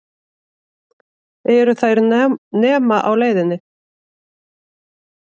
Eru þær nema á leiðinni?